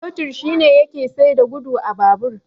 Totir shine yake saita gudu a babur.